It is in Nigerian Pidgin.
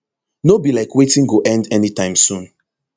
no be like wetin go end anytime soon